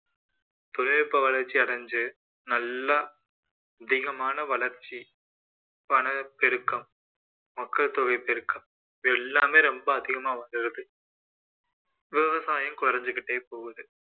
தொழில்நுட்ப வளர்ச்சி அடைஞ்சு நல்லா அதிகமான வளர்ச்சி வனப்பெருக்கம் மக்கள் தொகை பெருக்கம் இது எல்லாமே ரொம்ப அதிகமா வந்துடுது விவசாயம் குறைஞ்சுக்கிட்டே போகுது